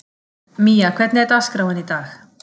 Mía, hvernig er dagskráin í dag?